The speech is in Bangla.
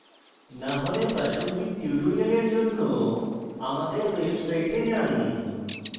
না হলে প্রাসঙ্গিক tutorials জন্য আমাদের website যান